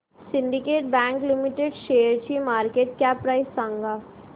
Syndicate Bank Limited शेअरची market cap price सांगा